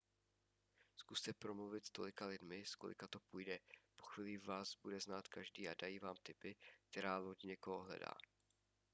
zkuste promluvit s tolika lidmi s kolika to půjde po chvíli vás bude znát každý a dají vám tipy která loď někoho hledá